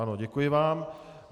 Ano, děkuji vám.